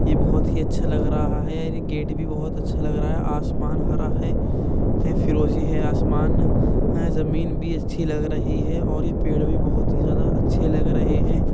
ये बहोत अच्छे लग रहा है। गेट भी बोहोत लग रहा है आसमान हरा है फीरोजी है आसमान जमींन भी अच्छी लग रही हैं और ये पेड़ भी बोहोत ही ज्यादा अच्छे लग रहे हैं।